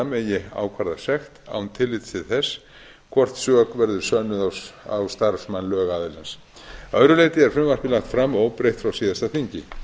að lögaðila megi ákvarða sekt án tillits til þess hvort sök verður sönnuð á starfsmann lögaðilans að öðru leyti er frumvarpið lagt fram óbreytt frá síðasta þingi